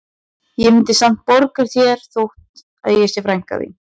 Ég mundi samt borga þér þó að ég sé frænka þín